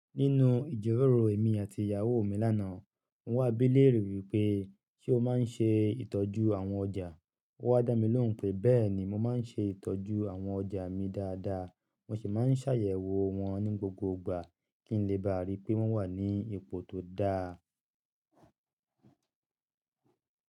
Nínú ìjíròrò èmi àti ìyàwó mi lánàá, mo wà bí léèrè wípé ṣé o máa ń ṣe ìtọ́jú àwọn ọjà. Ó wá dá mi lóhùn pé bẹ́ẹ̀ni, mo máa ń ṣe ìtọ́jú àwọn ọjà mi dáadáa. Mo sì máa ń ṣàyẹ̀wò wọ́n ní gbogbo ìgbà kí n lè bá rí pé wọ́n wà ní ipò tó dáa.